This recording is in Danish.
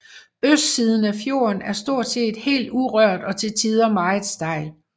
Østsiden af fjorden er stort set helt urørt og til tider meget stejl